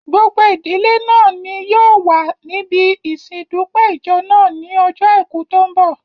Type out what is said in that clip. Gbogbo ìdílé náà ni yóò wà níbi ìsin ìdúpẹ́ ìjọ náà ní ojó àìkú tó n bọ̀